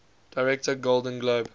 director golden globe